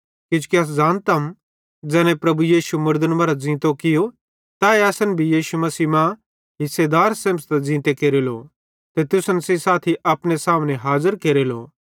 किजोकि अस ज़ानतम ज़ैने प्रभु यीशु मुड़दन मरां ज़ींतो कियो तैए असन भी यीशु मसीह मां हिसेदार सेमझ़तां ज़ींते केरेलो ते तुसन सेइं साथी अपने सामने हाज़र केरेलो